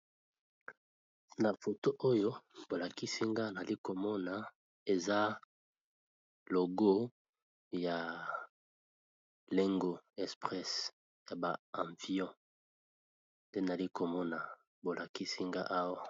Na photo oyo bolakisinga nalikomona eza logo ya lengo espresse ya ba avions nde nalikomona bolakisinga awa.